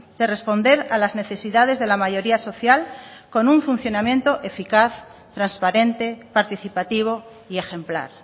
de responder a las necesidades de la mayoría social con un funcionamiento eficaz transparente participativo y ejemplar